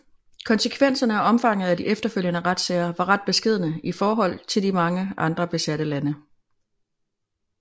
Konsekvenserne og omfanget af de efterfølgende retssager var ret beskedne i forhold til mange andre besatte lande